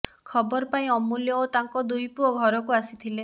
ଖବର ପାଇଁ ଅମୂଲ୍ୟ ଓ ତାଙ୍କ ଦୁଇ ପୁଅ ଘରକୁ ଆସିଥିଲେ